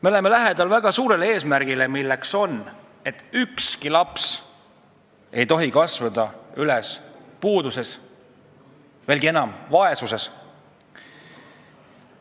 Me oleme lähedal väga suurele eesmärgile, milleks on, et ükski laps ei tohi kasvada üles puuduses või mis veelgi hullem, vaesuses.